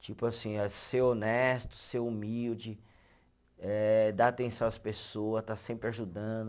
Tipo assim, é ser honesto, ser humilde eh, dar atenção às pessoas, estar sempre ajudando.